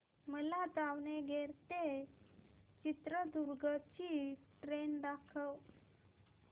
मला दावणगेरे ते चित्रदुर्ग ची ट्रेन दाखव